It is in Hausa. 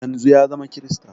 Yanzun ya zama krista